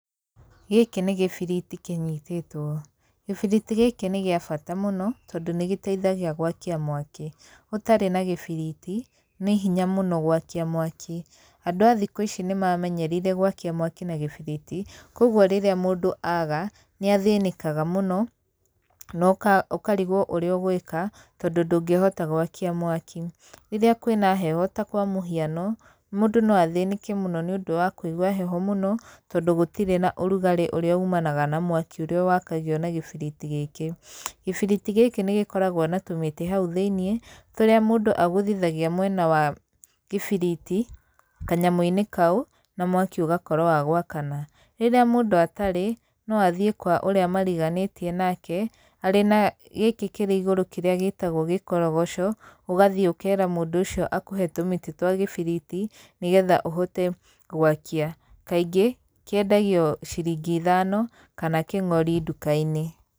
Gĩkĩ nĩ gĩbiriti kĩnyitĩtwo. Gĩbiriti gĩkĩ nĩ gĩa bata mũno, tondũ nĩ gĩteithagia gwakia mwaki. Ũtarĩ na gĩbiriti, nĩ hinya mũno gwakia mwaki. Andũ a thikũ ici nĩ mamenyerire gwakia mwaki na gĩbiriti, kũguo rĩrĩa mũndũ aaga nĩ athĩnĩkaga mũno no ũkarigwo ũrĩa ũgwĩka tondũ ndũngĩhota gwakia mwaki. Rĩrĩa kwĩna heho ta kwa mũhiano, mũndũ no athĩnĩke mũno nĩ ũndũ wa kũigua heho mũno tondũ gũtirĩ na ũrugarĩ ũrĩa ũmanaga na mwaki ũrĩa wakagio na gĩbiriti gĩkĩ. Gĩbiriti gĩkĩ nĩ gĩkoragwo na tũmĩtĩ hau thĩiniĩ , tũrĩa mũndũ agũthithagia mwena wa gĩbiriti kanyamũ-inĩ kau na mwaki ũgakorwo wa gwakana. Rĩrĩa mũndũ atarĩ, no athiĩ kwa ũrĩa mariganĩtie nake, arĩ na gĩkĩ kĩrĩ igũrũ kĩrĩa gĩtagwo gĩkorogoco, ũgathiĩ ũkera mũndũ ũcio akũhe tũmĩtĩ twa gĩbiriti nĩ getha ũhote gwakia. Kaingĩ kĩendagio ciringi ithano kana kĩng'ori ndũka-inĩ.